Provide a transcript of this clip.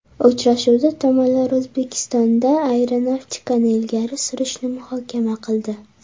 Uchrashuvda tomonlar O‘zbekistonda aeronavtikani ilgari surishni muhokama qildi.